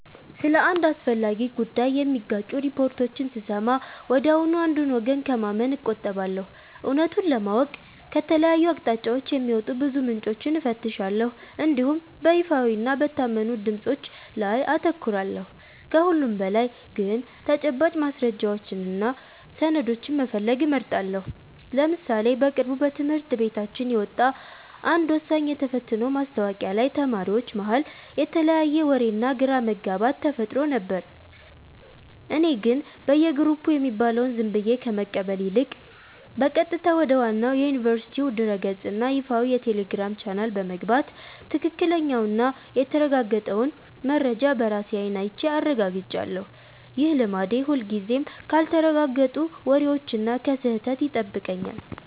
ስለ አንድ አስፈላጊ ጉዳይ የሚጋጩ ሪፖርቶችን ስሰማ ወዲያውኑ አንዱን ወገን ከማመን እቆጠባለሁ። እውነቱን ለማወቅ ከተለያዩ አቅጣጫዎች የሚወጡ ብዙ ምንጮችን እፈትሻለሁ እንዲሁም በይፋዊና በታመኑ ድምፆች ላይ አተኩራለሁ። ከሁሉም በላይ ግን ተጨባጭ ማስረጃዎችንና ሰነዶችን መፈለግ እመርጣለሁ። ለምሳሌ በቅርቡ በትምህርት ቤታችን የወጣ አንድ ወሳኝ የተፈትኖ ማስታወቂያ ላይ ተማሪዎች መሃል የተለያየ ወሬና ግራ መጋባት ተፈጥሮ ነበር። እኔ ግን በየግሩፑ የሚባለውን ዝም ብዬ ከመቀበል ይልቅ፣ በቀጥታ ወደ ዋናው የዩኒቨርሲቲው ድረ-ገጽና ይፋዊ የቴሌግራም ቻናል በመግባት ትክክለኛውንና የተረጋገጠውን መረጃ በራሴ አይን አይቼ አረጋግጫለሁ። ይህ ልማዴ ሁልጊዜም ካልተረጋገጡ ወሬዎችና ከስህተት ይጠብቀኛል።